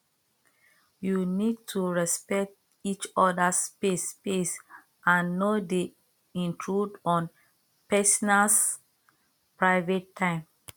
you need to respect each others space space and no dey intrude on pesinals private time